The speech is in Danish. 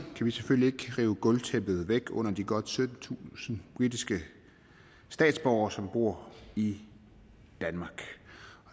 vi selvfølgelig ikke rive gulvtæppet væk under de godt syttentusind britiske statsborgere som bor i danmark